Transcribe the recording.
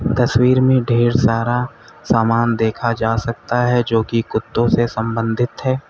तस्वीर में ढेर सारा सामान देखा जा सकता है जो कि कुत्तों से संबंधित है।